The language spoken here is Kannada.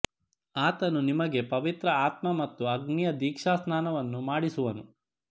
ಆತನು ನಿಮಗೆ ಪವಿತ್ರ ಆತ್ಮ ಮತ್ತು ಅಗ್ನಿಯ ದೀಕ್ಷಾಸ್ನಾನವನ್ನು ಮಾಡಿಸುವನು